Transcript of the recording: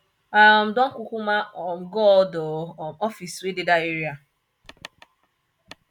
i um don kukuma um go all di um office wey dey dat area